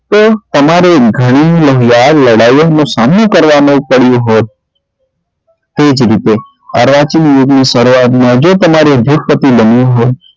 તો તમારે ગણી લાડ લડાઈઓ નો સામનો કરવા નો પડ્યો હોત તે જ રીતે અર્વાચીન યુગ ની સરુઆઅત માં જો તમારે ઉદ્યોગપતિ બનવું હોય